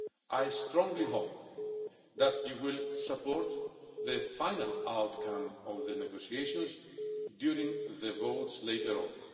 I strongly hope that you will support the final outcome of the negotiations during the votes later on.